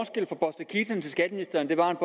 den skatteministeren er